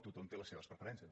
tothom té les seves preferències